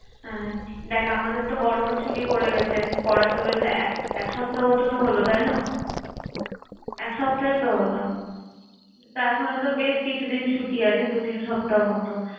আহ দেখ আমাদেরতো গরমের ছুটি পরে গেছে। পড়াতো বেশ এক এক সপ্তাহ মত তো হল তাই না? এক সপ্তাহই তো হল। তা এখনোতো বেশ কিছুদিন ছুটি আছে দু তিন সপ্তাহ মতো।